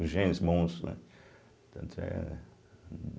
Os gênios bons, né? tanto era